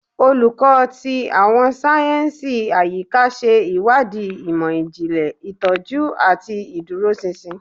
Olukọ ti Awọn sáyẹnsì Ayika ṣe iwadii imọ-jinlẹ, itọju, ati iduroṣinṣin